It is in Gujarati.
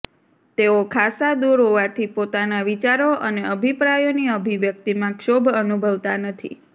તેઓ ખાસ્સા દૂર હોવાથી પોતાના વિચારો અને અભિપ્રાયોની અભિવ્યક્તિમાં ક્ષોભ અનુભવતા નથી